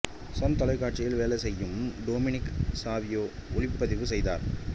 Sun தொலைக்காட்சியில் வேலை செய்யும் டோமினிக் சாவியோ ஒளிப்பதிவு செய்தார்